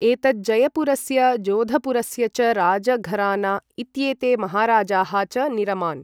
एतत् जयपुरस्य, जोधपुरस्य च राजघराना इत्येते महाराजाः च निरमान्।